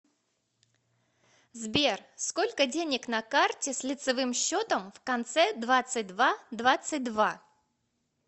сбер сколько денег на карте с лицевым счетом в конце двадцать два двадцать два